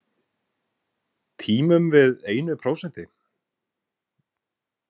Tímum við einu prósenti?